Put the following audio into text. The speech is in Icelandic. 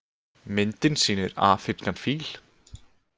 Myndin sýnir afrískan fíl.